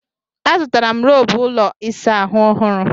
Azụtara m roobụ ụlọ ịsa ahụ ọhụru.